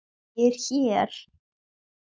ÉG ER HÉR!